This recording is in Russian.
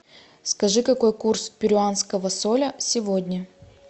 скажи какой курс перуанского соля сегодня